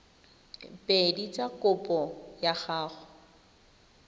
pedi tsa kopo ya go